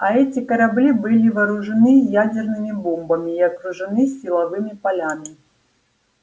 а эти корабли были вооружены ядерными бомбами и окружены силовыми полями